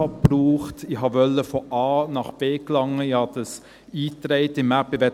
Ich wollte von A nach B gelangen, ich gab es in die App ein: